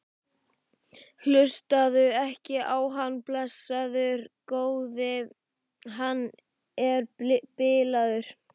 Hlustaðu ekki á hann, blessaður góði. hann er bilaður!